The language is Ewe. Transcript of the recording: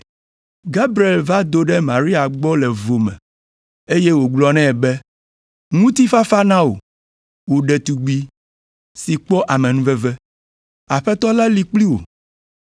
Gabriel va do ɖe Maria gbɔ le vo me, eye wògblɔ nɛ be, “Ŋutifafa na wò! Wò ɖetugbi si kpɔ amenuveve! Aƒetɔ la li kpli wò.”